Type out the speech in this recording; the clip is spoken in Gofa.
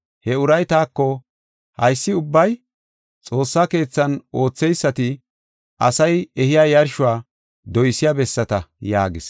He uray taako, “Haysi ubbay Xoossaa keethan ootheysati asay ehiya yarshuwa doysiya bessata” yaagis.